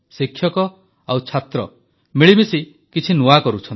ଶିକ୍ଷକ ଓ ଛାତ୍ର ମିଳିମିଶି କିଛି ନୂଆ କରୁଛନ୍ତି